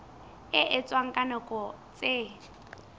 e etswang ka nako tse